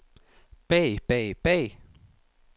bag bag bag